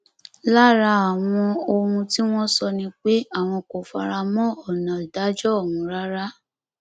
lára àwọn ohun tí wọn sọ ni pé àwọn kò fara mọ ọnà ìdájọ ọhún rárá